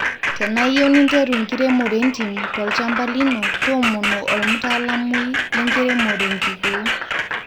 tenaiyieu ninteru enkiremo entim tolchamba lino toomono olmatalamui le nkiremore enkikoo